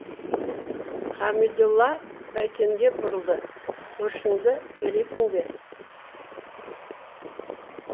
қамидолла бәйтенге бұрылды көршіңді бересің бе